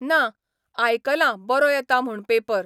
ना, आयकलां बरो येता म्हूण पेपर.